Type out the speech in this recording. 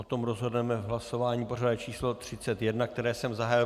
O tom rozhodneme v hlasování pořadové číslo 31, které jsem zahájil.